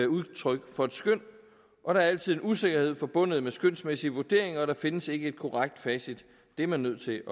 udtryk for et skøn og der er altid en usikkerhed forbundet med skønsmæssige vurderinger og der findes ikke et korrekt facit det er man nødt til